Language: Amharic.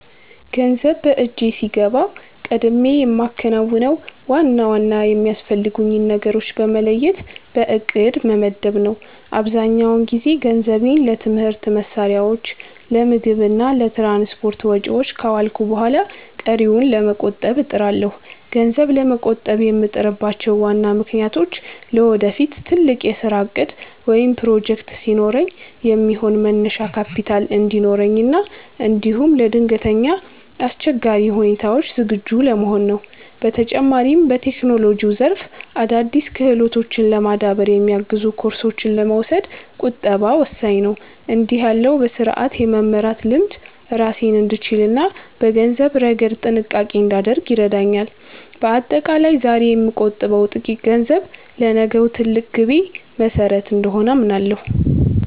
ገንዘብ በእጄ ሲገባ ቀድሜ የማከናውነው ዋና ዋና የሚያስፈልጉኝን ነገሮች በመለየት በዕቅድ መመደብ ነው። አብዛኛውን ጊዜ ገንዘቤን ለትምህርት መሣሪያዎች፣ ለምግብ እና ለትራንስፖርት ወጪዎች ካዋልኩ በኋላ ቀሪውን ለመቆጠብ እጥራለሁ። ገንዘብ ለመቆጠብ የምጥርባቸው ዋና ምክንያቶች ለወደፊት ትልቅ የሥራ ዕቅድ ወይም ፕሮጀክት ሲኖረኝ የሚሆን መነሻ ካፒታል እንዲኖረኝ እና እንዲሁም ለድንገተኛ አስቸጋሪ ሁኔታዎች ዝግጁ ለመሆን ነው። በተጨማሪም፣ በቴክኖሎጂው ዘርፍ አዳዲስ ክህሎቶችን ለማዳበር የሚያግዙ ኮርሶችን ለመውሰድ ቁጠባ ወሳኝ ነው። እንዲህ ያለው በሥርዓት የመመራት ልምድ ራሴን እንድችልና በገንዘብ ረገድ ጥንቃቄ እንዳደርግ ይረዳኛል። በአጠቃላይ፣ ዛሬ የምቆጥበው ጥቂት ገንዘብ ለነገው ትልቅ ግቤ መሠረት እንደሆነ አምናለሁ።